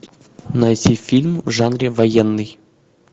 найти фильм в жанре военный